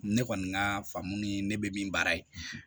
Ne kɔni ka faamu ye ne bɛ min baara ye